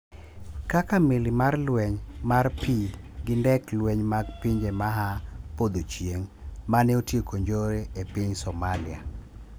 Kaka: meli mar lweny mar pii gi ndek lweny mag pinje maa podho chieng' mane otieko njore e pinySomalia.